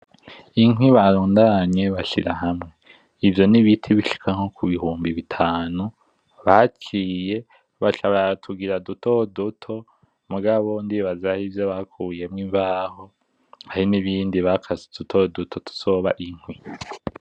Inkwi barundanye bashira hamwe. Ivyo n'ibiti bishika nko kubihumbi bitanu, baciye baca baratugira duto duto mugabo ndibaza harivyo bakuyemwo imbaho, hari n'ibindi bakase duto duto tuzoba inkwi.